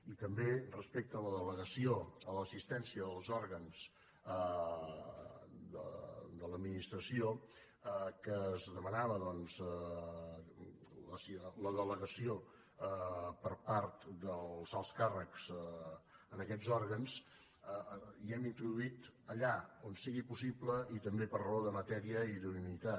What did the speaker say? i també respecte a la delegació a l’assistència en els òrgans de l’administració que es demanava doncs la delegació per part dels alts càrrecs hi hem introduït allà on sigui possible i també per raó de matèria i d’idoneïtat